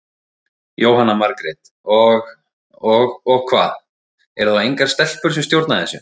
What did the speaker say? Jóhanna Margrét: Og, og hvað, eru þá engar stelpur sem stjórna þessu?